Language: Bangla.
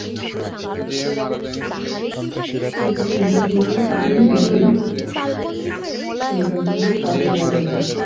এই সব জিনিস গুলোই তাড়া তাড়ি band হয় যায়